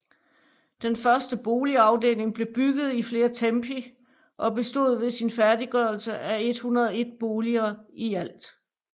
Den første boligafdeling blev bygget i flere tempi og bestod ved sin færdiggørelse af 101 boliger i alt